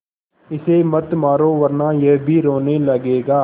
इसे मत मारो वरना यह भी रोने लगेगा